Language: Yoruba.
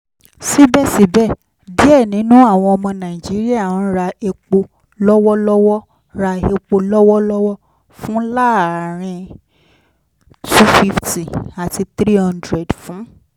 sibẹsibẹ diẹ ninu awọn ọmọ naijiria n ra epo lọwọlọwọ ra epo lọwọlọwọ fun laarin n two hundred fifty ati n three hundred fun